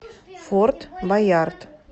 форт боярд